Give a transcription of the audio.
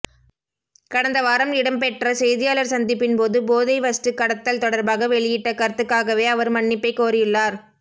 கடந்த வாரம் இடம்பெற்ற செய்தியாளர் சந்திப்பின்போது போதைவஷ்து கடத்தல் தொடர்பாக வெளியிட்டக் கருத்துக்காகவே அவர் மன்னிப்பை கோரியுள்ளார்